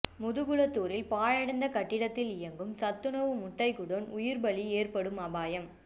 முதுகுளத்தூரில் பாழடைந்த கட்டிடத்தில் இயங்கும் சத்துணவு முட்டை குடோன் உயிர்ப்பலி ஏற்படும் அபாயம்